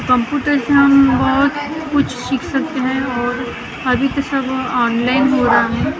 Computer से हम बहुत कुछ सीख सकते हैं और अब सब ऑनलाइन हो रहा है ।